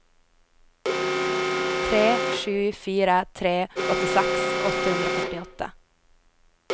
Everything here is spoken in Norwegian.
tre sju fire tre åttiseks åtte hundre og førtiåtte